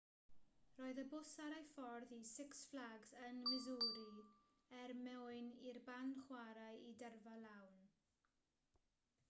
roedd y bws ar ei ffordd i six flags ym missouri er mwyn i'r band chwarae i dyrfa lawn